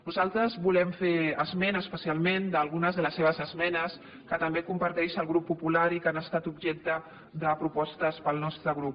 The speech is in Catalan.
nosaltres volem fer esment especialment a algunes de les seves esmenes que també comparteix el grup popular i que han estat objecte de propostes per al nostre grup